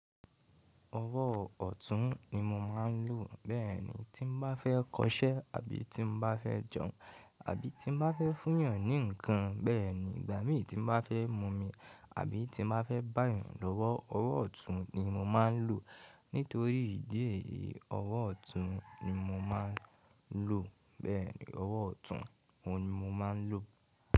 Ọwọ́ ọ̀tún ni mo máa ń lò bẹ́ẹ̀ ni tí mo bá fẹ́ kọṣẹ́ àbí tí mo bá fẹ́ jẹun àbí tí mo bá fẹ́ fúyàn ní ǹkan bẹ́ẹ̀ ni ìgbà mí tí mo bá fẹ́ mumí àbí tí mo bá fẹ́ bá eeyan lọ́wọ́. Ọwọ́ ọ̀tún ni mo máa ń lò nítorí ìdí èyí. Ọwọ́ ọ̀tún ni mo máa ń lò bẹ́ẹ̀ ni ọwọ́ ọ̀tún ni mo máa ń lò.